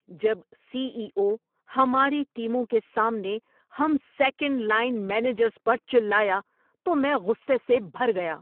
جب C E O ہماری ٹیموں کے سامنے ہم سیکنڈ لائن مینیجرز پر چلایا تو میں غصے سے بھر گیا۔